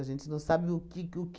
A gente não sabe o que o q